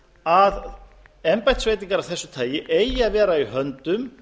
að embættisveitingar af þessu tagi eigi að vera í höndum